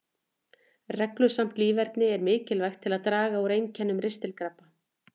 Reglusamt líferni er mikilvægt til að draga úr einkennum ristilkrampa.